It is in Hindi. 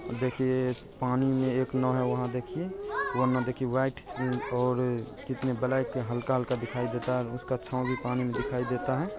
देखिए पानी में एक नाव है वहाँ देखिए वह नाव देखिए व्हाइट और कितने ब्लैक हल्का-हल्का दिखाई देता है उसका छाव भी पानी में दिखाई देता है।